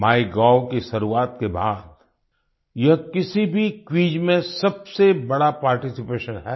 MyGov की शुरुआत के बाद यह किसी भी क्विज में सबसे बड़ा पार्टिसिपेशन है